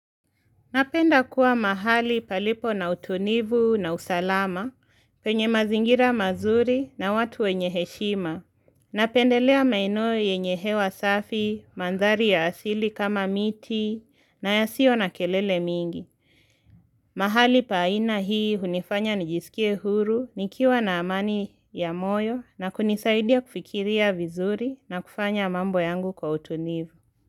Napenda kuwa mahali palipo na utulivu na usalama penye mazingira mazuri na watu wenye heshima. Napendelea maeno yenye hewa safi, mandhari ya asili kama miti na yasio na kelele mingi. Mahali pa aina hii hunifanya nijisikie huru, nikiwa na amani ya moyo na kunisaidia kufikiria vizuri na kufanya mambo yangu kwa utulivu.